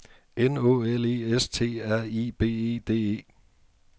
N Å L E S T R I B E D E